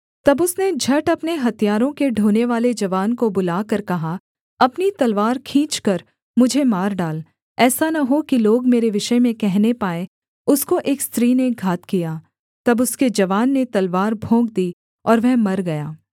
तब उसने झट अपने हथियारों के ढोनेवाले जवान को बुलाकर कहा अपनी तलवार खींचकर मुझे मार डाल ऐसा न हो कि लोग मेरे विषय में कहने पाएँ उसको एक स्त्री ने घात किया तब उसके जवान ने तलवार भोंक दी और वह मर गया